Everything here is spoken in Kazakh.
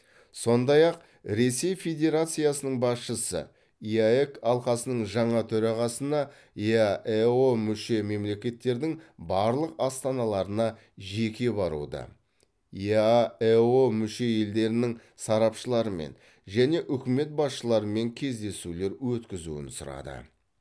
сондай ақ ресей федерациясының басшысы еэк алқасының жаңа төрағасына еаэо мүше мемлекеттердің барлық астаналарына жеке баруды еаэо мүше елдерінің сарапшыларымен және үкімет басшыларымен кездесулер өткізуін сұрады